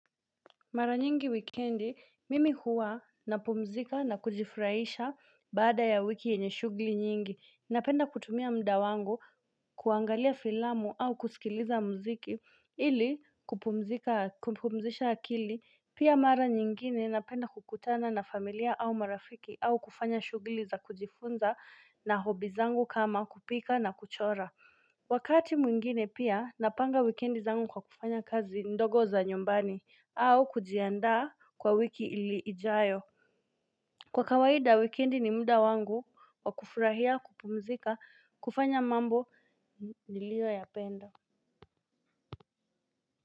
Mara nyingi wikendi, mimi huwa napumzika na kujifurahisha baada ya wiki yenye shugli nyingi, napenda kutumia muda wangu kuangalia filamu au kusikiliza mziki ili kupumzisha akili. Pia mara nyingine napenda kukutana na familia au marafiki au kufanya shugli za kujifunza na hobby zangu kama kupika na kuchora. Wakati mwingine pia napanga wikendi zangu kwa kufanya kazi ndogo za nyumbani au kujiandaa kwa wiki ijayo. Kwa kawaida weekendi ni muda wangu wakufurahia kupumzika kufanya mambo niliyoyapenda.